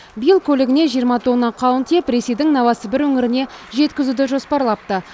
биыл көлігіне жиырма тонна қауын тиеп ресейдің новосібір өңіріне жеткізуді жоспарлапты